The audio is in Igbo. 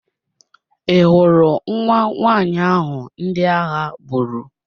Ị hụrụ nwa nwanyị ahụ ndị agha gburu?